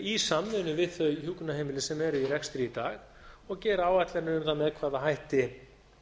í samvinnu við þau hjúkrunarheimili sem eru í rekstri í dag og gera áætlanir um það með hvaða hætti